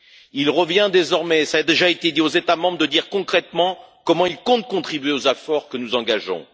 Il revient désormais cela a déjà été dit aux États membres de dire concrètement comment ils comptent contribuer aux efforts que nous engageons.